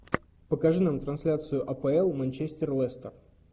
покажи нам трансляцию апл манчестер лестер